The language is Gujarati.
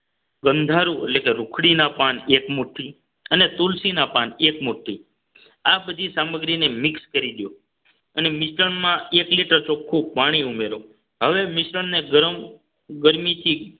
ગંધારું એટલે કે રૂખડીના પાન એક મુઠ્ઠી અને તુલસીના પાન એક મુઠ્ઠી આ બધી સામગ્રીને મિક્સ કરી દો અને મિશ્રણમાં એક liter ચોખ્ખું પાણી ઉમેરો હવે મિશ્રણને ગરમ ગરમીથી